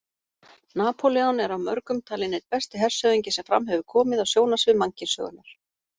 Napóleon er af mörgum talinn einn besti hershöfðingi sem fram hefur komið á sjónarsvið mannkynssögunnar.